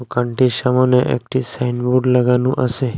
দোকানটির সামোনে একটি সাইনবোর্ড লাগানো আসে।